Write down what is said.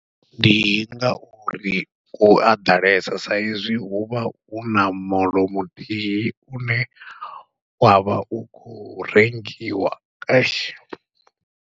Ndi ngauri ku a ḓalesa sa izwi huvha huna moḽo muthihi une wavha u khou rengiwa .